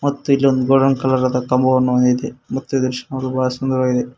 ಮತ್ತು ಇಲ್ಲಿ ಒಂದು ಗೋಲ್ಡನ್ ಕಲರ್ ಆದ ಕಮಾನ್ ಇದೆ ಮತ್ತು ಈ ದೃಶ್ಯ ನೋಡಲು ಬಹಳ ಸುಂದರವಾಗಿದೆ.